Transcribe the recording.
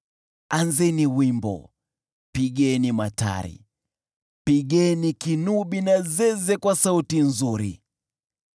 Anzeni wimbo, pigeni matari, pigeni kinubi na zeze kwa sauti nzuri.